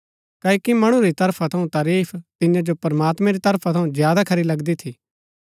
क्ओकि मणु री तरफा थऊँ तारीफ तियां जो प्रमात्मैं री तारीफ थऊँ ज्यादा खरी लगदी थी